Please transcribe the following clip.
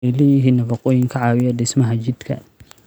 Waxay leeyihiin nafaqooyin ka caawiya dhismaha jidhka.